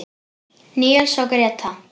Níels og Gréta.